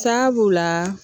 San b'u la